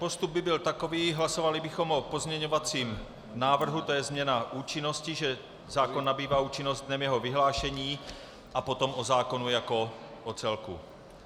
Postup by byl takový, hlasovali bychom o pozměňovacím návrhu, to je změna účinnosti, že zákon nabývá účinnosti dnem jeho vyhlášení, a potom o zákonu jako o celku.